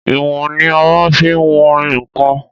Ìwòn ni a má n fi wọn ǹkan